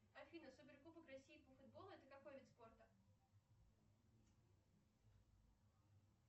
афина супер кубок россии по футболу это какой вид спорта